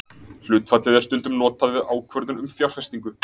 Hlutfallið er stundum notað við ákvörðun um fjárfestingu.